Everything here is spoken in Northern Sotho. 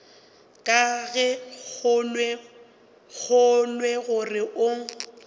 ga ke kgolwe gore o